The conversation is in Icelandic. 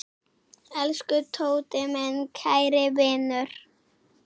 Elsku Tóti, minn kæri vinur.